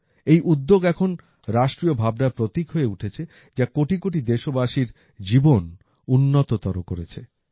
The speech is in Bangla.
এই উদ্যোগ এখন রাষ্ট্রীয় ভাবনার প্রতীক হয়ে উঠেছে যা কোটি কোটি দেশবাসীর জীবন উন্নততর করেছে